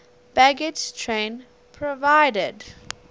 baggage train provided